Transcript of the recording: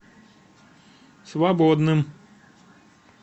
свободным